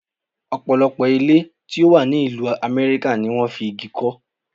Ọ̀pọ̀lọpọ̀ ilé tí ó wà ní ìlú Amẹ́ríkà ni wón fi igi kọ́.